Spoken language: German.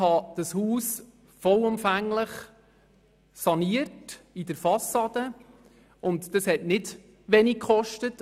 Dessen Fassade habe ich vollumfänglich saniert, und dies hat nicht wenig gekostet.